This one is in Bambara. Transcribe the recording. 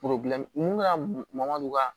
mun ka madon ka